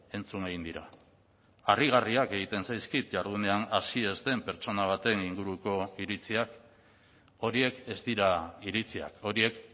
entzun egin dira harrigarriak egiten zaizkit jardunean hasi ez den pertsona baten inguruko iritziak horiek ez dira iritziak horiek